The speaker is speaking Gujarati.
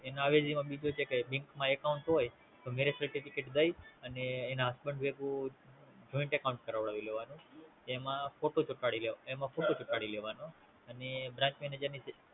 એના અવેજી માં બીજું કાય કે Bank માં Account હોય તો Marriage certificate દઈ અને એના Husband ભેગું Joint account કરાવી લેવાનું એમાં ફોટો ચોંટાડી લેવાનો અને Branch manager ની